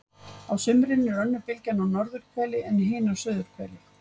Á sumrin er önnur bylgjan á norðurhveli en hin á suðurhveli.